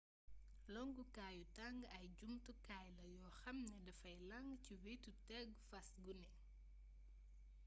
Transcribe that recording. longkukaayu tang ay jumtukaay la yoo xam ne dafay lang ci wetu tegu fas gune